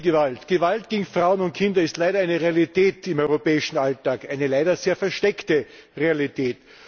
Häusliche Gewalt, Gewalt gegen Frauen und Kinder ist leider eine Realität im europäischen Alltag, eine leider sehr versteckte Realität.